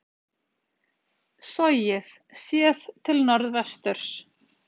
Sogið, séð til norðvesturs.